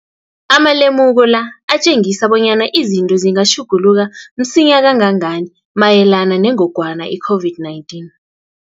Amalemuko la atjengisa bonyana izinto zingatjhuguluka msinyana kangangani mayelana nengogwana i-COVID-19.